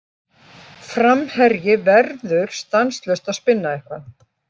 Framherji verður stanslaust að spinna eitthvað.